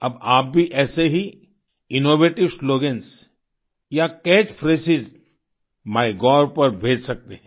अब आप भी ऐसे ही इनोवेटिव स्लोगन्स या कैच फ्रेजों माइगोव पर भेज सकते हैं